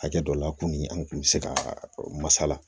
Hakɛ dɔ la kununi an kun bɛ se ka masala